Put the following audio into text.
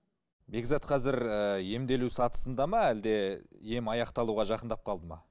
бекзат қазір ііі емделу сатысында ма әлде ем аяқталуға жақындап қалды ма